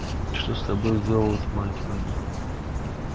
что с тобою сделалось мать моя